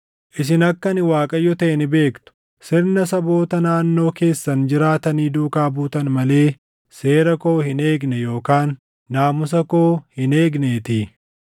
Isin akka ani Waaqayyo taʼe ni beektu; sirna saboota naannoo keessan jiraatanii duukaa buutan malee seera koo hin eegne yookaan naamusa koo hin eegneetii.”